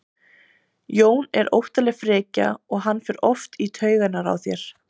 Jón er óttaleg frekja og hann fer oft í taugarnar á þér.